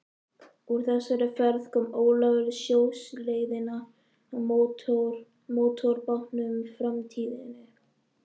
Úr þessari ferð kom Ólafur sjóleiðina á mótorbátnum Framtíðinni.